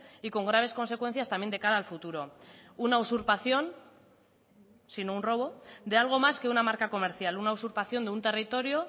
y con graves consecuencias también de cara al futuro una usurpación sino un robo de algo más que una marca comercial una usurpación de un territorio